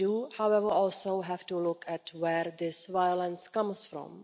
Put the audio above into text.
However, we also have to look at where this violence comes from.